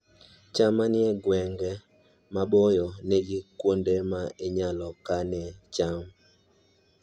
cham manie gwenge maboyo nigi kuonde ma inyalo kanoe cham